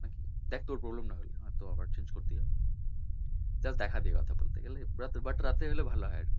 দেখ তোর problem না হলেই হবে নয়তো আবার change করতে হবে দেখা নিয়ে কথা এবার বলতে গেলে দেখ রাতের দিকে হলে ভালো হয় আরকি